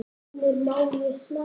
Heimir: Má ég smakka?